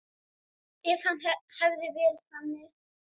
Ef hann hefði verið þannig.